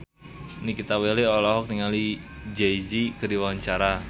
Nikita Willy olohok ningali Jay Z keur diwawancara